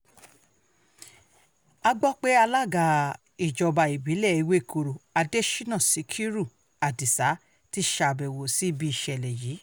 a gbọ́ pé alága ìjọba ìbílẹ̀ ewékorò adésínà síkírù adisa ti ṣàbẹ̀wò sí ibi ìṣẹ̀lẹ̀ yìí